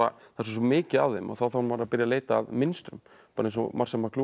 það er svo mikið af þeim og þá þarf maður að byrja að leita að mynstrum bara eins og Marshall